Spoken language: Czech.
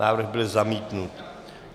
Návrh byl zamítnut.